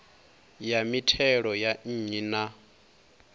ya mithelo ya nnyi na